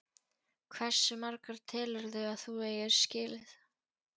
Hversu marga telurðu að þú eigir skilið?